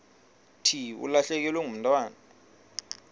thi ulahlekelwe ngumntwana